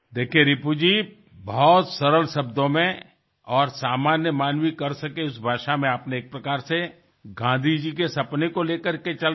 দেখুন রিপুজি খুব সরল ভাষায় আর কিছু সহজ পদ্ধতি অনুসরণ করার মাধ্যমে আপনি একপ্রকারে গান্ধীজীর স্বপ্নকে সঙ্গে নিয়ে চলেছেন